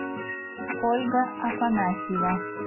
ольга афанасьева